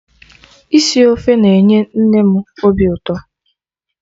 Isi ofe na-enye nne m obi ụtọ